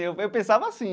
Eu eu pensava assim.